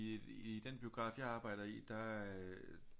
I den biograf jeg arbejder i der